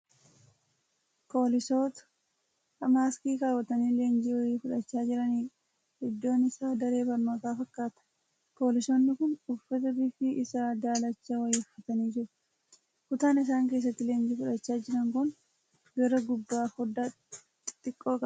Poolisoota maaskii kaawwatanii leenjii wayii fudhachaa jiranidha. Iddoon isaa daree barnootaa fakkaata. Poolisoonni kun uffata bifi isaa daalachaa wayii uffatanii jiru. Kutaan isaan keessatti leenjii fudhachaa jiran kun gara gubbaa foddaa xixiqqoo qaba.